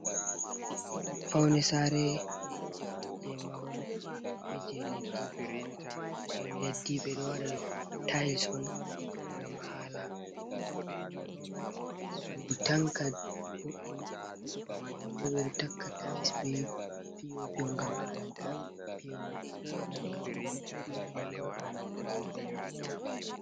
Paune sare je mahol beje leddi, paune leddi ɓe ɗo waɗa tais on ngam hala sudu tanka boddum, mahol bo ɓe ɗo takka tais be pinti on ngam hala taapewol nanga ɗum piopi bo ngam hala paune.